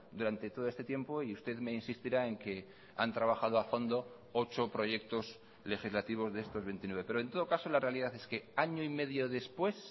durante todo este tiempo y usted me insistirá en que han trabajado a fondo ocho proyectos legislativos de estos veintinueve pero en todo caso la realidad es que año y medio después